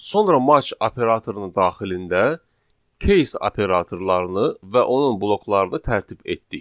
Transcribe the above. Sonra match operatorunun daxilində case operatorlarını və onun bloklarını tərtib etdik.